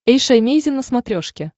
эйша эмейзин на смотрешке